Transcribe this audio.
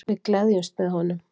Við gleðjumst með honum.